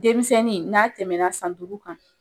Denmisɛnnin n'a tɛmɛna san duuru kan